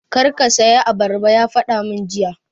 Kar ka saya abarba! ya faɗa mai jiya